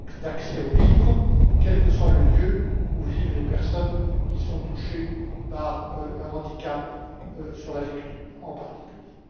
d'accès aux livres, quel que soit le lieu où vivent les personnes qui sont touchées par un handicap touchant à la lecture, en particulier.